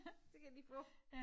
Det kan han lige få